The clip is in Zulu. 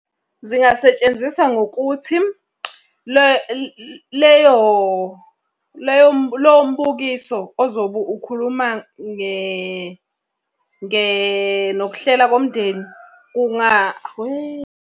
Zingasetshenziswa ngokuthi lowo mbukiso ozobe ukhuluma nokuhlela komndeni .